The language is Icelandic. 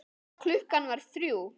Klukkan var þrjú.